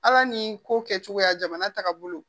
Ala ni ko kɛcogoya jamana taga bolo